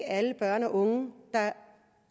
alle børn og unge der